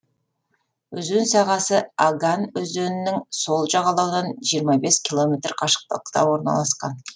өзен сағасы аган өзенінің сол жағалауынан жиырма бес километр қашықтықта орналасқан